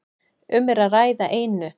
Um er að ræða einu